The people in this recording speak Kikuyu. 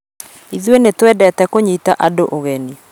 Ithuĩ nĩ twendete kũnyita andũũgeni